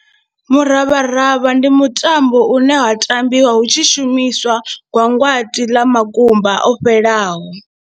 Muravharavha ndi mutambo une wa tambiwa hu tshi shumiswa gwangwati ḽa makumba o fhelelaho.